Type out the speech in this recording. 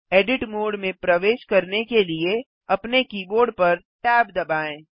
edit mode में प्रवेश करने के लिए अपने कीबोर्ड पर tab दबाएँ